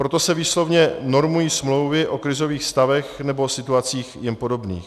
Proto se výslovně normují smlouvy o krizových stavech nebo situacích jim podobných.